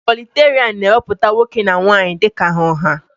Ikwọliterian na-ewepụta nwoke na nwaanyị dika ha ọha.